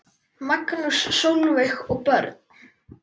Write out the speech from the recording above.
Magnús, Sólveig og börn.